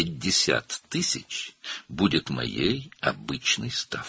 50.000 mənim adi dərəcəm olacaq.